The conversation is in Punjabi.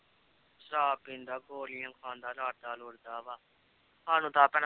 ਸ਼ਰਾਬ ਪੀਂਦਾ, ਗੋਲੀਆਂ ਖਾਂਦਾ, ਲੜਦਾ ਲੁੜਦਾ ਵਾ ਸਾਨੂੰ